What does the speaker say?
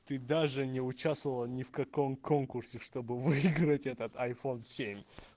ты даже не участвовала ни в каком конкурсе чтобы выиграть этот айфон семь